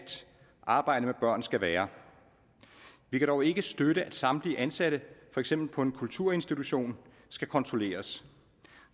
arbejde med børn skal være vi kan dog ikke støtte at samtlige ansatte for eksempel på en kulturinstitution skal kontrolleres